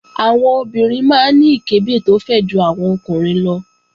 Àwọn obìnrin máa ń ní ìkẹ́bẹ̀ tó fẹ̀ ju àwọn ọkùnrin lọ